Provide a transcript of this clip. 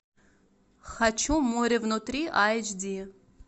хочу море внутри айч ди